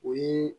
O ye